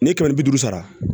Ni ye kɛmɛ ni bi duuru sara